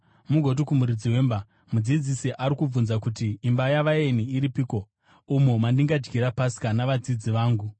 mugoti kumuridzi wemba, ‘Mudzidzisi ari kubvunza kuti: Imba yavaeni iripiko, umo mandingadyira Pasika navadzidzi vangu?’